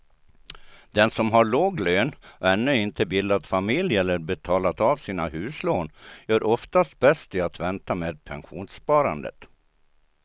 Den som har låg lön och ännu inte bildat familj eller betalat av sina huslån gör oftast bäst i att vänta med pensionssparandet.